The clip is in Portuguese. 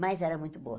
Mas era muito boa.